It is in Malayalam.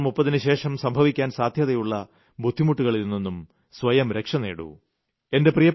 സെപ്റ്റംബർ 30ന് ശേഷം സംഭവിക്കാൻ സാദ്ധ്യതയുള്ള ബുദ്ധിമുട്ടുകളിൽനിന്നും സ്വയം രക്ഷ നേടൂ